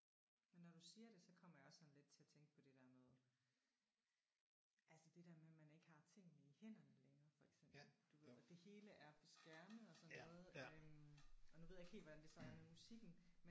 Men når du siger det så kommer jeg også sådan lidt til at tænke på det der med altså det der med at man ikke har tingene i hænderne længere for eksempel du ved og det hele er på skærme og sådan noget øh og nu ved jeg ikke helt hvordan det så er med musikken